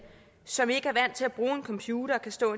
som ikke er vant til at bruge en computer og kan stå